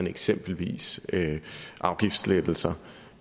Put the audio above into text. eksempelvis afgiftslettelser